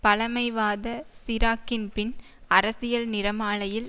பழமைவாத சிராக்கின் பின் அரசியல் நிறமாலையில்